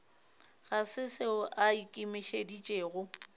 ga se seo a ikemišeditšego